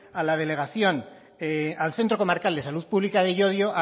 al centro comarcal de salud pública de llodio